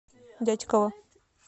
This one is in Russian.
дятьково